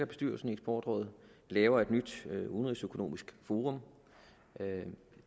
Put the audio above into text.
bestyrelsen i eksportrådet og laver et nyt udenrigsøkonomisk forum